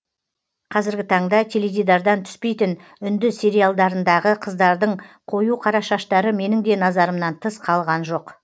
қазіргі таңда теледидардан түспейтін үнді сериалдарындағы қыздардың қою қара шаштары менің де назарымнан тыс қалған жоқ